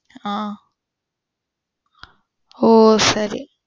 ஆஹ்ன் ஓ சரி.